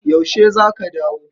Yaushe za ka dawo?